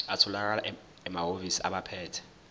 atholakala emahhovisi abaphethe